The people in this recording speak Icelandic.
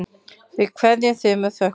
Við kveðjum þig með þökkum.